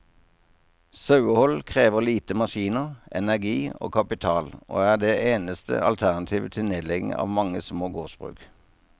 Sauehold krever lite maskiner, energi og kapital, og er det eneste alternativet til nedlegging av mange små gårdsbruk.